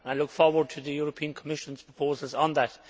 I look forward to the European Commission's proposals on that.